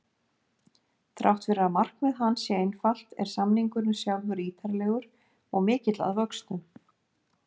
Þrátt fyrir að markmið hans sé einfalt er samningurinn sjálfur ítarlegur og mikill að vöxtum.